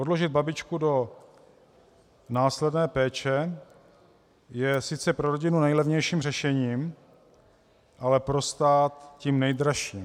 Odložit babičku do následné péče je sice pro rodinu nejlevnějším řešením, ale pro stát tím nejdražším.